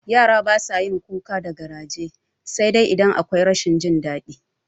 Yara basa yawan kuka da garaje sai idan akwai rashin jin daɗi